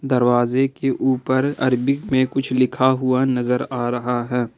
दरवाजे के ऊपर अरबी में कुछ लिखा हुआ नजर आ रहा है।